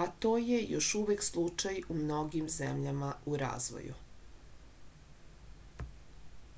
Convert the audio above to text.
a to je još uvek slučaj u mnogim zemljama u razvoju